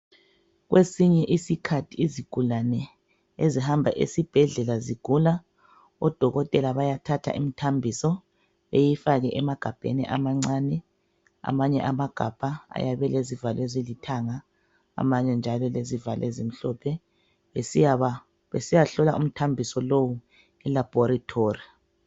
Kwesinye iskhathi izigulane ezihamba esibhedlela zigula, odokotela bayathatha imthambiso beyifake emagabheni amancane. Amanye amagabha ayabe elezivalo ezilithanga, amanye njalo elezivalo ezimhlophe, besiyahlola umthambiso lowu elabhorithori.